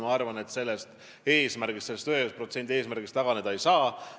Ma arvan, et sellest 1% eesmärgist taganeda ei saa.